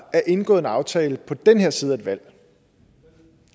indgået en aftale på den her side af et valg